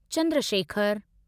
Chandra शेखरु